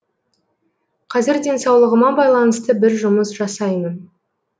қазір денсаулығыма байланысты бір жұмыс жасаймын